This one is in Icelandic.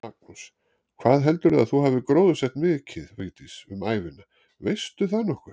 Magnús: Hvað heldurðu að þú hafir gróðursett mikið, Vigdís, um ævina, veistu það nokkuð?